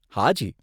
હાજી.